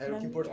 Era o que